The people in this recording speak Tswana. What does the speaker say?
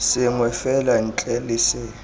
sengwe fela ntle le se